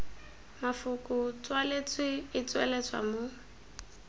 mafoko tswaletswe e tsweletswa mo